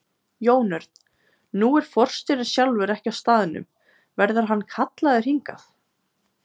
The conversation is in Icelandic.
Jón Örn: Nú er forstjórinn sjálfur ekki á staðnum, verður hann kallaður hingað?